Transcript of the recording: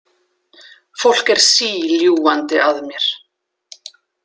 Fólk er síljúgandi að mér.